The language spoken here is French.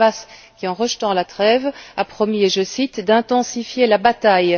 Le Hamas qui, en rejetant la trêve, a promis, je cite d'intensifier la bataille.